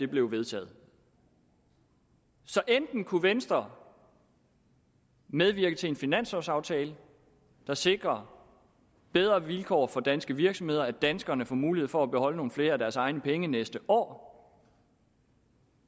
blev vedtaget så enten kunne venstre medvirke til en finanslovsaftale der sikrer bedre vilkår for danske virksomheder at danskerne får mulighed for at beholde nogle flere af deres egne penge næste år